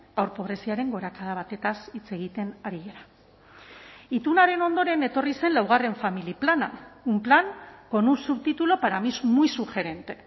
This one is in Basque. haur pobreziaren gorakada batez hitz egiten ari gara itunaren ondoren etorri zen laugarren familia plana un plan con un subtítulo para mí es muy sugerente